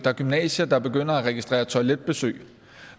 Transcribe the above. er gymnasier der begynder at registrere toiletbesøg og